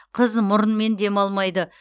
қыз мұрынмен демалмайды